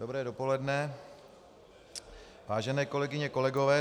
Dobré dopoledne, vážené kolegyně, kolegové.